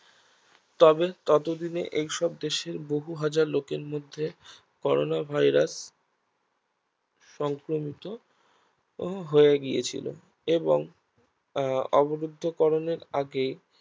তবে ততদিনে এসব দেশের বহু হাজার লোকের মধ্যে করোনা Virus সংক্রমিত হয়ে গিয়েছিল এবং আহ অবলিপ্ত করণের আগেই